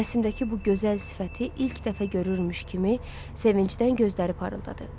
Rəsimdəki bu gözəl sifəti ilk dəfə görürmüş kimi sevincdən gözləri parıldadı.